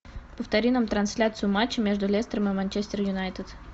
повтори нам трансляцию матча между лестером и манчестер юнайтед